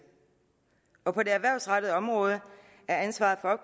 og på det erhvervsrettede område er ansvaret for